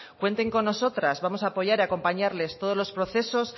cuenten con nosotras vamos a apoyar y a acompañarles todos los procesos